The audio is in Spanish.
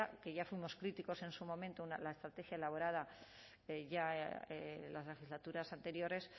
que ya fuimos críticos en su momento la estrategia elaborada ya en las legislaturas anteriores